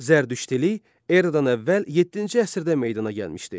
Zərdüştilik eradan əvvəl yeddinci əsrdə meydana gəlmişdi.